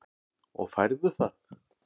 Og færðu það?